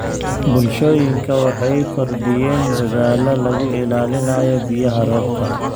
Bulshooyinka waxay kordhiyeen dadaallada lagu ilaalinayo biyaha roobka.